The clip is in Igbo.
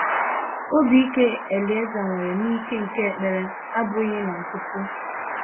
Obi ike Elieza nwere n’ike nke ekpere abụghị na nkịtị.